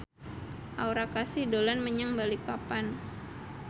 Aura Kasih dolan menyang Balikpapan